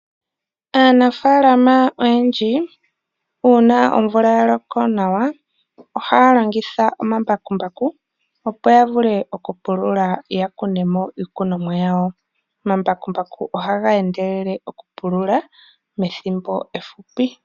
Aanafaalama oyendji uuna omvula ya loko nawa ohaya longitha omambakumbaku, opo ya vule okupulula ya kune mo iikunomwa yawo. Omambakumbaku ohaga endelele okupulula methimbo efupi.